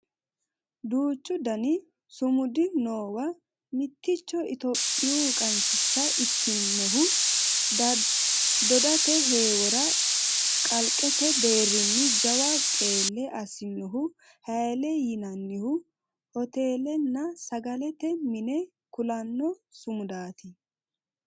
Duuchu dani sumudi noowa mitticho Itiyophiyu qansicha ikkinohu dodate heewora kalqete deerrini jawa qeelle assinohu hayiile yinannihu hotelenna sagalete mine kulanno sumudaati